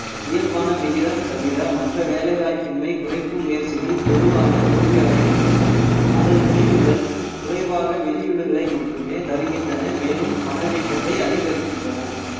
இயல்பான விகிதம் தவிர மற்ற வேலை வாய்ப்பின்மை குறைப்பு முயற்சிகள் பொதுவாக தோல்வியடைகின்றன அதன் முடிவுகள் குறைவாக வெளியூடுகளை மட்டுமே தருகின்றன மேலும் பணவீக்கத்தை அதிகரிக்கின்றன